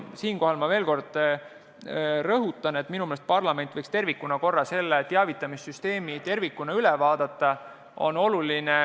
Siinkohal ma veel kord rõhutan, et minu meelest parlament võiks tervikuna selle teavitamissüsteemi üle vaadata.